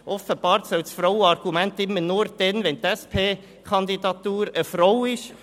Offenbar soll das Frauenargument immer nur dann gelten, wenn hinter der SP-Kandidatur eine Frau steht.